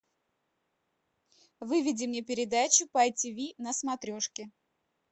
выведи мне передачу по ти ви на смотрешке